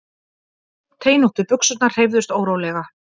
Teinóttu buxurnar hreyfðust órólega.